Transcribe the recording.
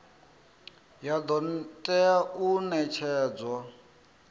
ya do tea u netshedzwa